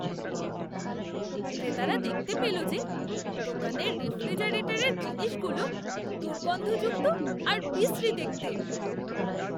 ক্রেতারা দেখতে পেল যে, দোকানের রেফ্রিজারেটরের জিনিসগুলো দুর্গন্ধযুক্ত আর বিশ্রী দেখতে।